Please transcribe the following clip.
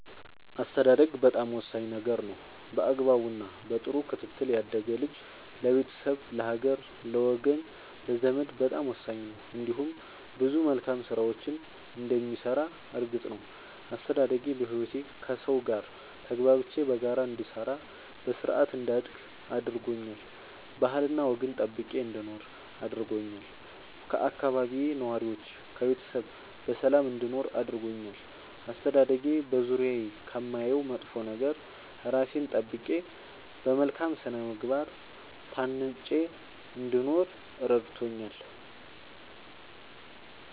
አስተዳደግ በጣም ወሳኝ ነገር ነው በአግባቡ እና በጥሩ ክትትል ያደገ ልጅ ለቤተሰብ ለሀገር ለወገን ለዘመድ በጣም ወሳኝ ነው እንዲሁም ብዙ መልካም ስራዎችን እንደሚሰራ እርግጥ ነው። አስተዳደጌ በህይወቴ ከሠው ጋር ተግባብቼ በጋራ እንድሰራ በስርአት እንዳድግ አድርጎኛል ባህልና ወግን ጠብቄ እንድኖር አድርጎኛል ከአካባቢዬ ነዋሪዎች ከቤተሰብ በሰላም እንድኖር አድርጎኛል። አስተዳደጌ በዙሪያዬ ከማየው መጥፎ ነገር እራሴን ጠብቄ በመልካም ስነ ምግባር ታንጬ እንድኖር እረድቶኛል።